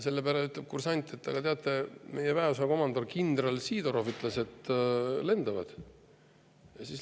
Selle peale ütleb kursant, et aga, teate, meie väeosa komandör kindral Sidorov ütles, et lendavad.